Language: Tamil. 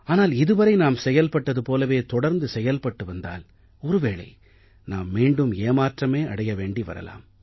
ஆனால் இது வரை நாம் செயல்பட்டது போலவே தொடர்ந்து செயல்பட்டு வந்தால் ஒரு வேளை நாம் மீண்டும் ஏமாற்றமே அடைய வேண்டி வரலாம்